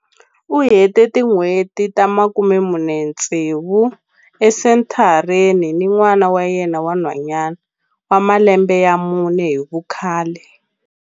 U hete tin'hweti ta 46 esenthareni ni n'wana wa yena wa nhwanyana wa malembe ya mune hi vukhale.